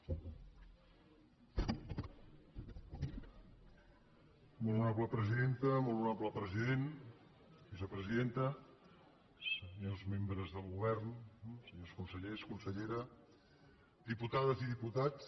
molt honorable president vicepresidenta senyors membres del govern senyors consellers consellera diputades i diputats